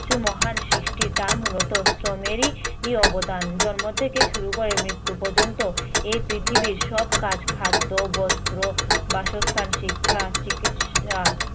মহান সৃষ্টি তা মুলত শ্রমেরই ই অবদান। জন্ম থেকে শুরু করে মৃত্যু পর্যন্ত এই পৃথিবীর সব কাজ, খাদ্য, বস্ত্র, বাসস্থান, শিক্ষা, চিকিৎসা